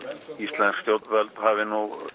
íslensk stjórnvöld hafi